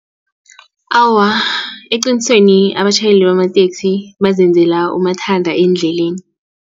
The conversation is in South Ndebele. Awa, eqinisweni abatjhayeli bamateksi bazenzela umathanda endleleni.